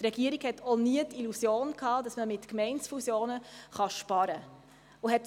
Die Regierung hatte auch nie die Illusion, dass man mit Gemeindefusionen sparen könne und hat